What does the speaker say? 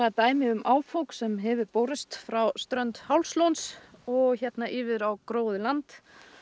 dæmi um áfok sem hefur borist frá strönd Hálslóns og hérna yfir á gróið land